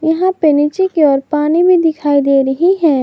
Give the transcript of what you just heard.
यहां पे नीचे की ओर पानी भी दिखाई दे रही है।